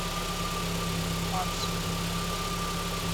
аксу